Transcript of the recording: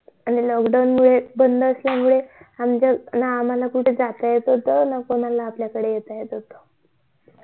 आणि lockdown मुळे सगळे आमच्या ना आम्हाला कुठे जाता येत होत ना कोणाला आपल्या कडे येता येत होत